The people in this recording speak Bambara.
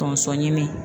Tonso ɲini